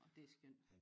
Og det er skønt